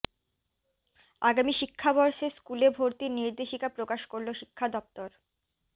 আগামী শিক্ষাবর্ষে স্কুলে ভর্তির নির্দেশিকা প্রকাশ করল শিক্ষা দফতর